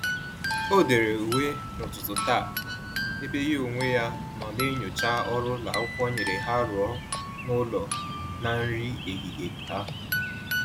O-dere uwe n'ụtụtụ taa, ebe ya onwe ya nọ na-enyocha ọrụ ụlọakwụkwọ nyere ha rụọ na-ụlọ na nri ehihie ha